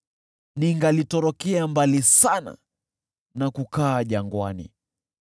Ningalitorokea mbali sana na kukaa jangwani,